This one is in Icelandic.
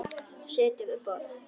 Sitja við borð